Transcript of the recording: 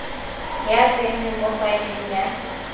ya tsenngwa mo faeleng ya